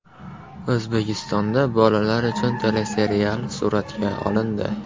O‘zbekistonda bolalar uchun teleserial suratga olindi.